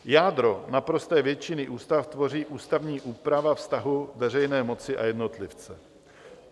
Jádro naprosté většiny ústav tvoří ústavní úprava vztahu veřejné moci a jednotlivce.